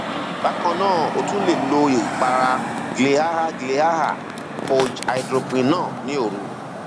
bákan náà o tún lè lo ìpara cs] glyaha glyaha koj hydroquinone ní òru